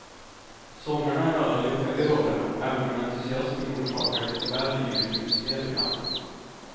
Sångarna är alla lyckade i rollerna, även om entusiasmen orsakar lite väl yvigt utspel ibland.